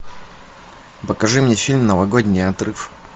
покажи мне фильм новогодний отрыв